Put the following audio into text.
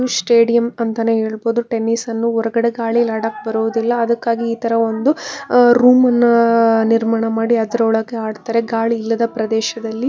Stadium ಅಂತಾನೆ ಹೇಳಬಹುದು tennis ಅನ್ನು ಹೊರಗಡೆ ಗಾಳಿಲೀ ಆಡಕ್ ಬರೋದಿಲ್ಲ ಅದಕ್ಕಾಗಿ ಇತರ ಒಂದು ರೂಮ್ ನ ನಿರ್ಮಾಣ ಮಾಡಿ ಅದರೊಳಗೆ ಆಡ್ತಾರೆ ಗಾಳಿ ಇಲ್ಲದ ಪ್ರದೇಶದಲ್ಲಿ.